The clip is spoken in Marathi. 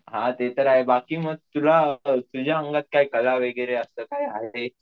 हा ते तर आहे बाकी मग तुला, तुझ्या अंगात कला वगैरे असं काही आहे ?